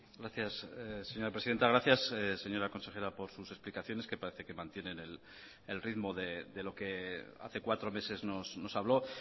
gracias señora presidenta gracias señora consejera por sus explicaciones que parece que mantienen el ritmo de lo que hace cuatro meses nos habló